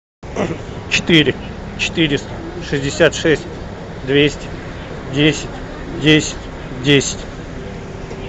четыре четыреста шестьдесят шесть двести десять десять десять